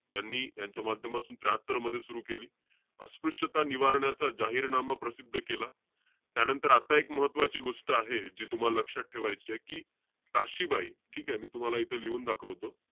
यांनी यांच्या माध्यमातून त्र्याहात्तर मध्ये सुरु केली. अस्पृश्यता निवारणाचा जाहीरनामा प्रसिद्ध केला. त्यानंतर आता एक महत्वाची गोष्ट आहे जी तुम्हाला लक्षात ठेवायचीय. कि, काशीबाई, ठीके? मी तूम्हाला इथे लिहून दाखवतो.